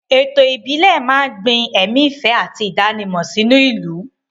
Ètò ìbílẹ̀ máa ń gbin ẹ̀mí ìfẹ́ àti ìdánimọ̀ sínú ìlú.